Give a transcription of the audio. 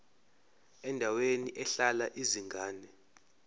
endaweni ehlala izingane